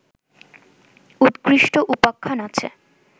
উৎকৃষ্ট উপাখ্যান আছে